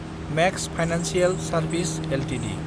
max financial service Ltd